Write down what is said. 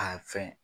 A fɛn